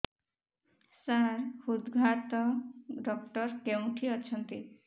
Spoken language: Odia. ସାର ହୃଦଘାତ ଡକ୍ଟର କେଉଁଠି ଅଛନ୍ତି